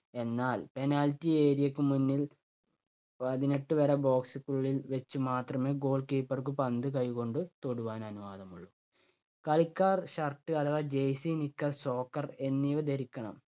എന്നാൽ penalty area ക്ക് മുന്നിൽ പതിനെട്ട് വര box ക്കുള്ളിൽ വച്ച് മാത്രമേ goal keeper ക്ക് പന്ത് കൈ കൊണ്ട് തൊടുവാൻ അനുവാദമുള്ളൂ. കളിക്കാർ shirt അഥവാ Jersey, nicker, soccer, എന്നിവ ധരിക്കണം.